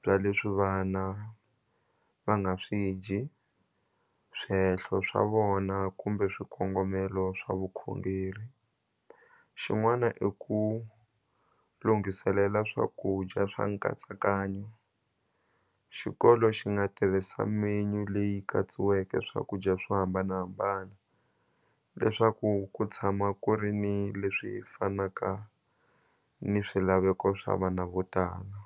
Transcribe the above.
bya leswi vana va nga swi dyi swihehlo swa vona kumbe swikongomelo swa vukhongeri xin'wana i ku lunghiselela swakudya swa nkatsakanyo xikolo xi nga tirhisa menu leyi katsiweke swakudya swo hambanahambana leswaku ku tshama ku ri ni leswi fanaka ni swilaveko swa vana vo tala.